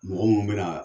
Mɔgɔ munnu bɛna